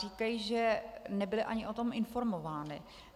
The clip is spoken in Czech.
Říkají, že nebyly o tom ani informovány.